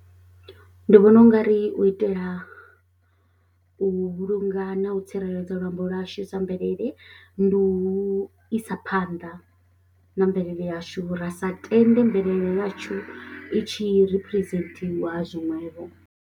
Ndi vhona ungari u itela u vhulunga na u tsireledza luambo lwashu sa mvelele ndi u isa phanḓa na mvelele yashu ra sa tende mvelele yashu i tshi representiwa zwiṅwevho.